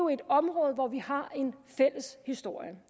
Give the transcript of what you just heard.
et område hvor vi har en fælles historie